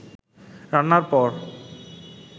রান্নার পর